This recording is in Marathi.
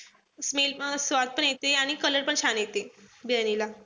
Smell स्वाद पण येते आणि color पण छान येते. बिर्याणीला.